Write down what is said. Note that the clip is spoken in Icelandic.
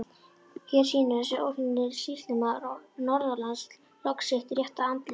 Hér sýnir þessi óhlýðni sýslumaður norðanlands loks sitt rétta andlit!